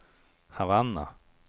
Havanna